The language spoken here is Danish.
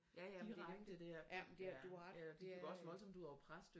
Ja ja men ja men du har ret det er øh